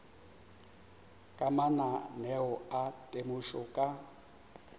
ka mananeo a temošo ka